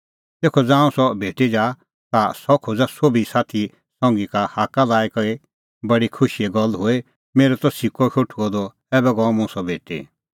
तेखअ ज़ांऊं सह भेटी जा ता सह खोज़ा सोभी साथी संघी का हाक्का लाई कि बडी खुशीए गल्ल हुई मेरअ त सिक्कअ शोठुअ द ऐबै गअ मुंह सह भेटी